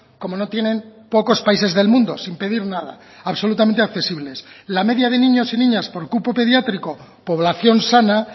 como no tienen pocos países del mundo sin pedir nada absolutamente accesibles la media de niños y niñas por cupo pediátrico población sana